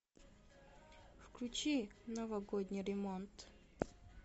включи новогодний ремонт